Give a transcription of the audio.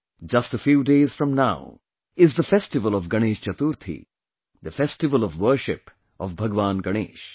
Just a few days from now, is the festival of Ganesh Chaturthi, the festival of worship of Bhagwan Ganesha